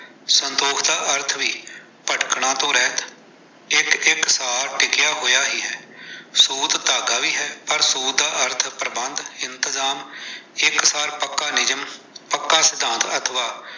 ਸੰਤੋਖ ਦਾ ਅਰਥ ਵੀ ਭਟਕਣਾ ਤੋਂ ਰਹਿਤ, ਇੱਕ ਇੱਕ . ਟਿਕਿਆ ਹੋਇਆ ਹੀ ਹੈ। ਸੂਤ ਧਾਗਾ ਵੀ ਹੈ, ਪਰ ਸੂਤ ਦਾ ਅਰਥ ਪ੍ਰਬੰਧ, ਇੰਤਜਾਮ, ਇਕਸਾਰ ਪੱਕਾ ਨਿਯਮ, ਪੱਕਾ ਸਿਧਾਂਤ ਅਥਵਾ।